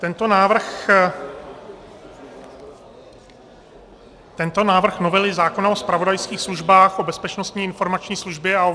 Tento návrh novely zákona o zpravodajských službách, o Bezpečnostní informační službě a o